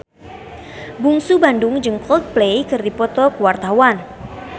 Bungsu Bandung jeung Coldplay keur dipoto ku wartawan